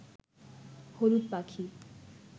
হলুদ পাখি